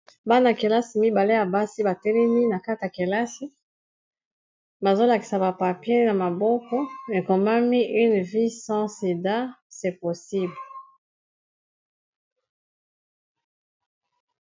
bana -kelasi mibale ya basi batelemi na kata kelasi bazolakisa bapapien ya maboko ekombami une vie sans sida se possible